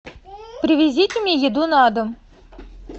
привезите мне еду на дом